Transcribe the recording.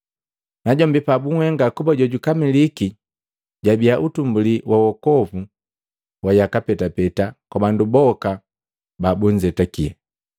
Najombi pabunhenga kuba jojukamiliki, jabiya utumbuli wa wokovu wa yaka petapeta kwa bandu boka babunzetake,